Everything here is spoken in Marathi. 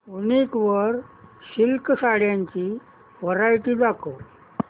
वूनिक वर सिल्क साड्यांची वरायटी दाखव